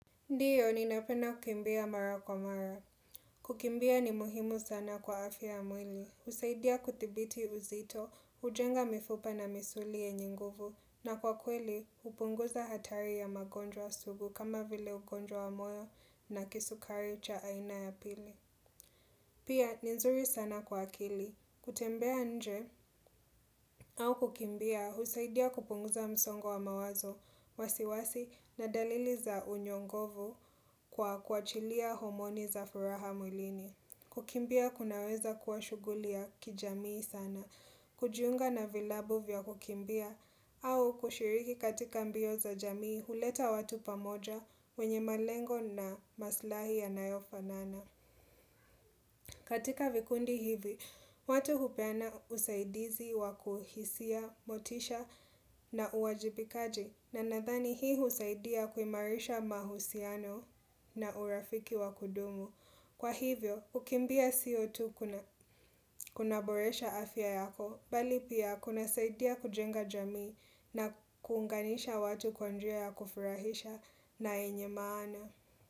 Ndiyo, ninapenda kukimbia mara kwa mara. Kukimbia ni muhimu sana kwa afya ya mwili. Husaidia kuthibiti uzito, hujenga mifupa na misuli yenye nguvu, na kwa kweli, hupunguza hatari ya magonjwa sugu kama vile ugonjwa wa moyo na kisukari cha aina ya pili. Pia, ni nzuri sana kwa akili. Kutembea nje au kukimbia, husaidia kupunguza msongo wa mawazo, wasiwasi na dalili za unyongovu kwa kuachilia homoni za furaha mwilini kukimbia kunaweza kuwa shuguli ya kijamii sana kujiunga na vilabu vya kukimbia au kushiriki katika mbio za jamii huleta watu pamoja wenye malengo na maslahi yanayofanana katika vikundi hivi watu hupeana usaidizi wa kuhisia, motisha na uwajibikaji na nadhani hii husaidia kuimarisha mahusiano na urafiki wa kudumu. Kwa hivyo, kukimbia sio tu kunaaboresha afya yako, bali pia kunasaidia kujenga jamii na kuunganisha watu kwa njia ya kufurahisha na yenye maana.